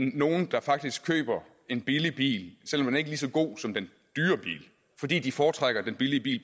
nogle der faktisk køber en billig bil selv om den ikke er lige så god som den dyre bil fordi de foretrækker den billige bil